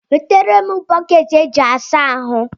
Nweterem Boketi e ji asa ahụ